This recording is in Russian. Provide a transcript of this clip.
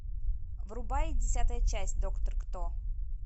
врубай десятая часть доктор кто